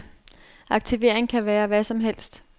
Aktivering kan være hvad som helst.